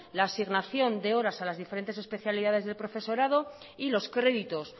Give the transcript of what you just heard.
la asignación de horas a las diferentes especialidades del profesorado y los créditos